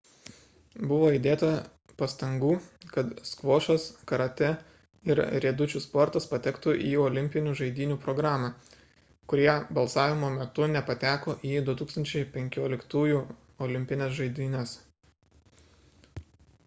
buvo įdėta pastangų kad skvošas karatė ir riedučių sportas patektų į olimpinių žaidynių programą kurie balsavimo metu nepateko į 2015-ųjų olimpines žaidynes